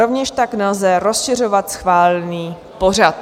Rovněž tak nelze rozšiřovat schválený pořad.